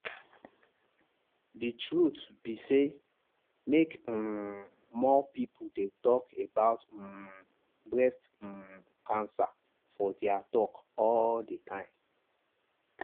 the truth be say make um more people dey talk about um breast um cancer for their talk all the time.